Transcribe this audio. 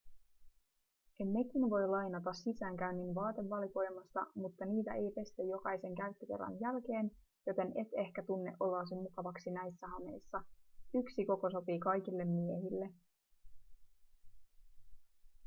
nekin voi lainata sisäänkäynnin vaatevalikoimasta mutta niitä ei pestä jokaisen käyttökerran jälkeen joten et ehkä tunne oloasi mukavaksi näissä hameissa yksi koko sopii kaikille miehille